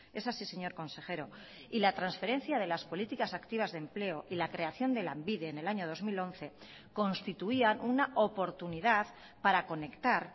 es así señor consejero y la transferencia de las políticas activas de empleo y la creación de lanbide en el año dos mil once constituían una oportunidad para conectar